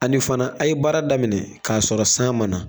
Ani fana a' ye baara daminɛ k'a sɔrɔ san mana.